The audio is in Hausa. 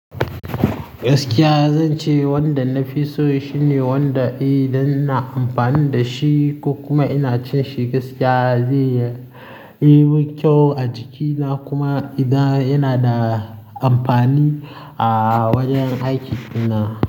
Gaskiya zan ce wanda na fi so shine wanda eh dan ina amfani da shi ko kuma ina cin shi gaskiya zai yi mun kyau a jikina kuma idan yana da amfani a wajen aikin na.